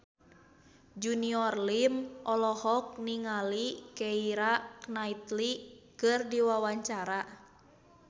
Junior Liem olohok ningali Keira Knightley keur diwawancara